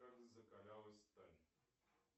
как закалялась сталь